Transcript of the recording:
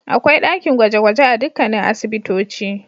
Akwai dakin gwaje-gwaje a dukkanin asibitoci.